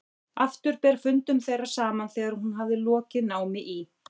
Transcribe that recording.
Aftur ber fundum þeirra saman þegar hún hafði lokið námi í